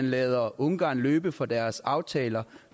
lade ungarn løbe fra deres aftaler